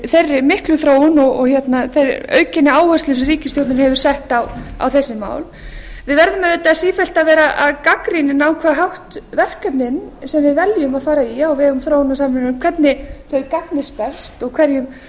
þeirri miklu þróun og aukinni áherslu sem ríkisstjórnin hefur sett á þessi mál við verðum auðvitað sífellt að vera gagnrýnin á hvern hátt verkefnin sem við veljum að fara í á vegum þróunarsamvinnunnar hvernig þau gagnist best og hverjum